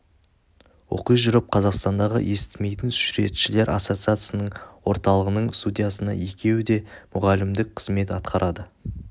оқи жүріп қазақстандағы естімейтін суретшілер ассоциациясының орталығының студиясында екеуі де мұғалімдік қызмет атқарады